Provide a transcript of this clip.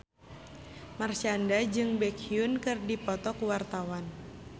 Marshanda jeung Baekhyun keur dipoto ku wartawan